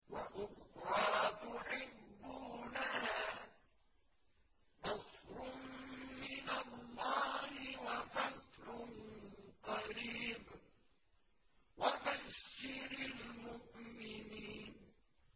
وَأُخْرَىٰ تُحِبُّونَهَا ۖ نَصْرٌ مِّنَ اللَّهِ وَفَتْحٌ قَرِيبٌ ۗ وَبَشِّرِ الْمُؤْمِنِينَ